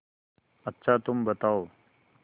अच्छा तुम बताओ